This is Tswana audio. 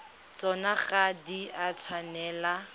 tsona ga di a tshwanela